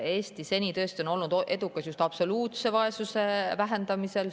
Eesti on seni olnud tõesti edukas just absoluutse vaesuse vähendamisel.